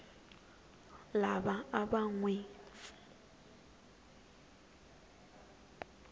lava a va n wi